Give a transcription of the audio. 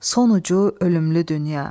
Sonucu ölümlü dünya.